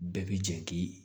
Bɛɛ bi jɛ k'i